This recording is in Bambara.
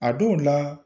A dɔw la